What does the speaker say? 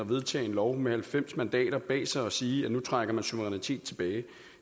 vedtage en lov med halvfems mandater bag sig og sige at nu trækker man suverænitet tilbage